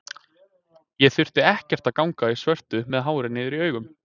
Ég þurfti ekkert að ganga í svörtu með hárið niður í augum.